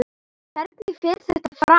Hvernig fer þetta fram?